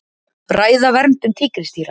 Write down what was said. Ræða verndun tígrisdýra